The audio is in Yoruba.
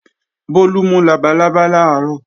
Bólú mú labalábá làárọ̀